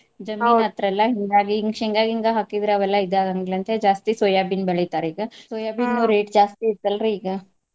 ಹತ್ರ ಎಲ್ಲಾ ಹಿಂಗಾಗಿ ಇನ್ನ್ ಶೇಂಗಾ ಗಿಂಗಾ ಹಾಕಿದ್ರ ಆವೆಲ್ಲಾ ಇದಾಗಂಗಿಲ್ಲ ಅಂತ ಹೇಳಿ ಜಾಸ್ತಿ soyabean ಬೆಳಿತಾರ ಈಗ. rate ಜಾಸ್ತಿ ಐತಲ್ರಿ ಈಗ.